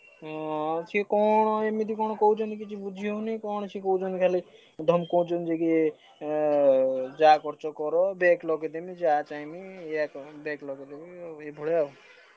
ଅଁ ସିଏ କଣ ଏମିତି କଣ କହୁଛନ୍ତି କିଛି ବୁଝି ହଉନି କଣ ସିଏ କହୁଛନ୍ତି ଖାଲି ଧମକଉଛନ୍ତି କି ଏଁ ଯାହା କରୁଛ କର back ଲଗେଇଦେବି ଯାହା ଚାହିଁବି back ଲଗେଇଦେମି ଏଇଭଳିଆ ଆଉ।